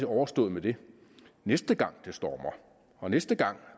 overstået med det næste gang det stormer og næste gang